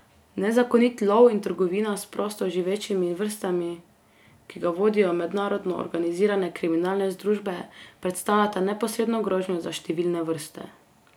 Nezakonit lov in trgovina s prosto živečimi vrstami, ki ga vodijo mednarodno organizirane kriminalne združbe, predstavljata neposredno grožnjo za številne vrste.